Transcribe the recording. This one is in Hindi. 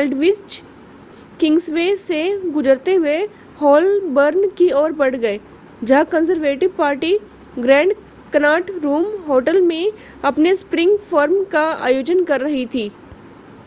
एल्डविच किंग्सवे से गुजरते हुए होलबर्न की ओर बढ़ गए जहां Conservative Party Grand Connaught Room hotel में अपने स्प्रिंग फ़ोरम का आयोजन कर रही थी